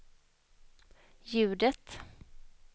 ljudet